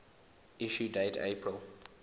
issue date april